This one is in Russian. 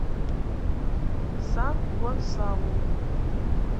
сан гонсалу